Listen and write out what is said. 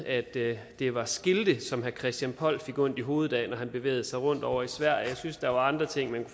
at det det var skilte som herre christian poll fik ondt i hovedet af når han bevægede sig rundt ovre i sverige jeg synes der var andre ting man